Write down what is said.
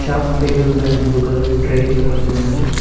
Top table పైన blue colour tray ఒకటి ఉన్నది.